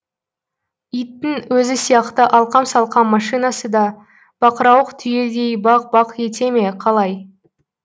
иттің өзі сияқты алқам салқам машинасы да бақырауық түйедей бақ бақ ете ме қалай